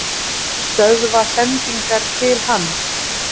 Stöðva sendingar til hans?